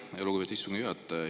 Aitäh, lugupeetud istungi juhataja!